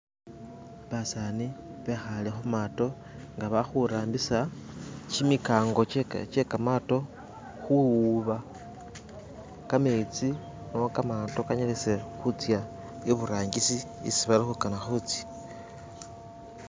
Basani bekhale khumato nga balikhurambisa kimikango kye kamato khuwuba kametsi kamato kanyalise khutsa iburangisi isi balikhuna khutsa.